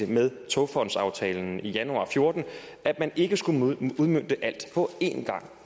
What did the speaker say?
med togfondsaftalen i januar og fjorten at man ikke skulle udmønte alt på én gang